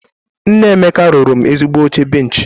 Nna Emeka rụrụ mụ ezigbo oche benchị